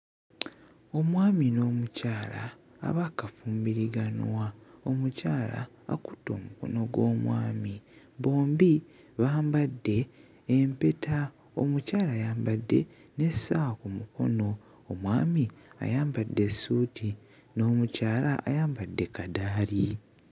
Omwami n'omukyala abaakafumbiriganwa, omukyala akutte omukono gw'omwami. Bombi bambadde empeta, omukyala ayambadde n'essaawa ku mukono, omwami ayambadde essuuti n'omkyala ayambadde kadaali.